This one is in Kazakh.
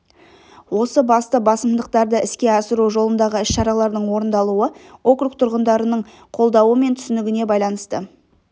осы басты басымдықтарды іске асыру жолындағы іс-шаралардың орындалуы округ тұрғынының қолдауы мен түсінігіне байланысты